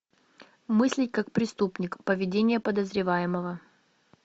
мыслить как преступник поведение подозреваемого